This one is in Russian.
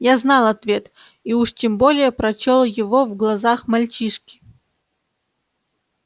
я знал ответ и уж тем более прочёл его в глазах мальчишки